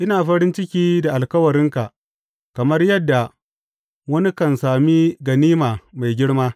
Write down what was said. Ina farin ciki da alkawarinka kamar yadda wani kan sami ganima mai girma.